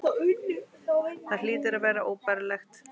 Það hlýtur að vera óbærilegt.